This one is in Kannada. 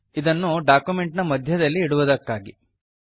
ಇದನ್ನು ಡಾಕ್ಯುಮೆಂಟ್ ನ ಮಧ್ಯದಲ್ಲಿ ಇಡುವುದಕ್ಕಾಗಿ